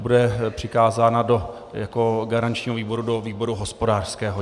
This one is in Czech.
Bude přikázána jako garančnímu výboru do výboru hospodářského.